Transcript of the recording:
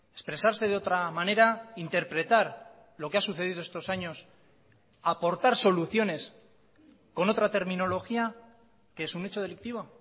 expresarse de otra manera interpretar lo que ha sucedido estos años aportar soluciones con otra terminología qué es un hecho delictivo